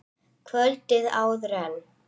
Kvöldið áður en